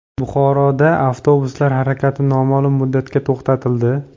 Buxoroda avtobuslar harakati noma’lum muddatga to‘xtatildi.